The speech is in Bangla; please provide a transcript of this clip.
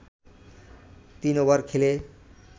৩ ওভার খেলে